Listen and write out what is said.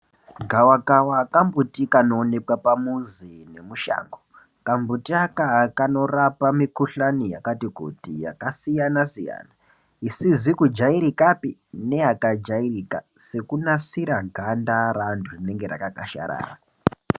Gava kava kambuti kanoonekwa pamuzi nemushango kambuti aka kanorapa mikuhlani yakati kuti yakasiyana siyana isizi kujairikapi neyakajairika sekunasira ganda reantu rinenge rakakashirira.